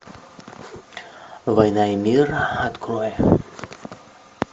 война и мир открой